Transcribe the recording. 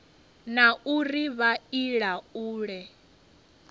na uri vha i laule